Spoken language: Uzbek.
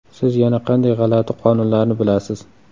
Siz yana qanday g‘alati qonunlarni bilasiz?